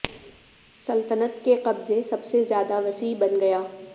سلطنت کے قبضے سب سے زیادہ وسیع بن گیا